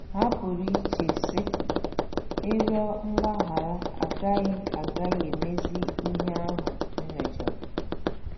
Ha pụrụ iche, sị, 'Ịrịọ mgbaghara agaghị agaghị emezi ihe ahụ m mejọrọ. '